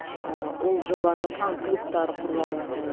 ыыы ол жобаның фан клубтары құрыла бастады